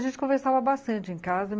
A gente conversava bastante em casa.